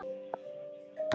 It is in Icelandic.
Þeir hlutu síðar bætur.